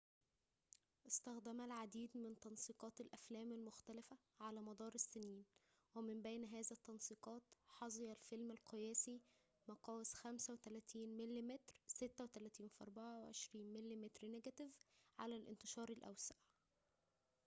اُستخدم العديد من تنسيقات الأفلام المختلفة على مدار السنين، ومن بين هذا التنسيقات حظى الفيلم القياسي مقاس 35 مم 36× 24 مم نيجاتيف على الانتشار الأوسع